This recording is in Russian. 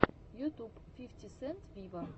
ютуб фифти сент виво